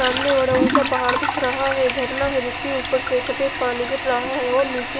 सामने बड़ा उचा पहाड़ दिख रहा है झरना है जिसके उपर से सफ़ेद पानी गिर रहा है और निचे--